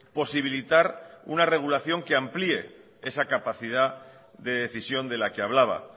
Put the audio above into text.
posibilitar una regulación que amplíe esa capacidad de decisión de la que hablaba